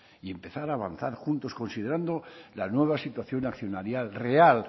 y empezar a avanzar juntos considerando la nueva situación accionarial real